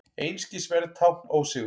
Einskisverð tákn ósigurs.